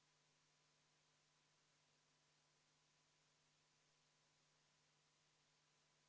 Elektrilevi kohta otsustas komisjon, et kuna nende kiri puudutab ainult Kliimaministeeriumi teemasid, siis vajadusel peaks antud ministeerium ise algatama vastavad muudatused.